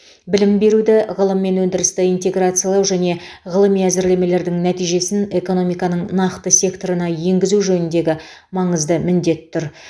білім беруді ғылым мен өндірісті интеграциялау және ғылыми әзірлемелердің нәтижесін экономиканың нақты секторына енгізу жөніндегі маңызды міндет тұр